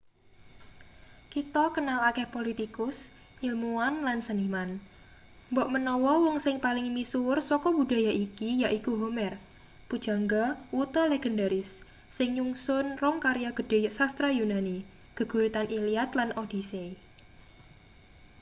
kita kenal akeh politikus ilmuwan lan seniman mbok menawa wong sing paling misuwur saka budaya iki yaiku homer pujangga wuta legendaris sing nyungsun rong karya gedhe sastra yunani geguritan iliad lan odyssey